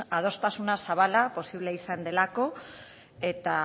adostasuna zabala posible izan delako eta